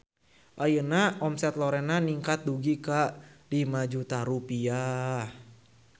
Ayeuna omset Lorena ningkat dugi ka 5 juta rupiah